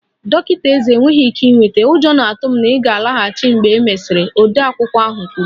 Dọkịta ezé enweghị ike ịnweta, ụjọ na-atụ m na ị ga-alaghachi mgbe e mesịrị, odeakwụkwọ ahụ kwuru